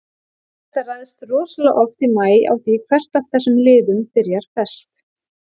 Þetta ræðst rosalega oft í maí á því hvert af þessum liðum byrjar best.